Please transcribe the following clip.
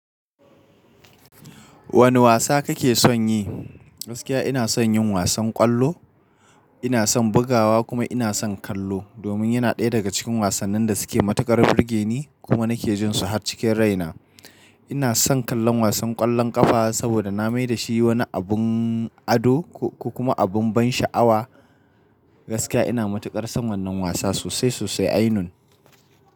Wane wasa kake son yi? Gaskiya ina son yin wasan ƙwallo, ina son bugawa kuma ina son kallo domin yana ɗaya daga cikin wasannin da suke matuƙar burge ni kuma nake jin su har cikin raina. Ina son kallon wasan ƙwallon ƙafa saboda na mai da shi wani abin ado ko kuma abin ban sha'awa. Gaskiya ina matuƙar son wannan wasa sosai sosai ainun.